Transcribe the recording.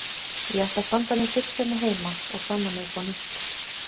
Ég ætla að standa mig fyrst hérna heima og sanna mig upp á nýtt.